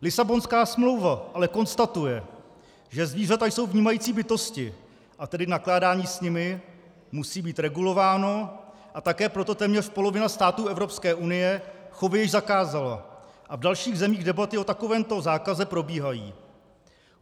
Lisabonská smlouva ale konstatuje, že zvířata jsou vnímající bytosti, a tedy nakládání s nimi musí být regulováno, a také proto téměř polovina států Evropské unie chovy již zakázala a v dalších zemích debaty o takovémto zákazu probíhají.